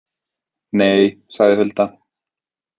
Nei, sagði Hulda.